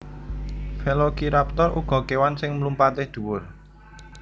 Velociraptor uga kèwan sing mlumpatè dhuwur